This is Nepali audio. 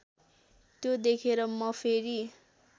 त्यो देखेर म फेरि